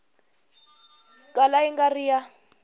kala yi nga ri ya